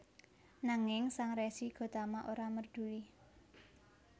Nanging Sang Resi Gotama ora merduli